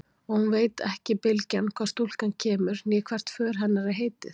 Og hún veit ekki bylgjan hvaðan stúlkan kemur né hvert för hennar er heitið.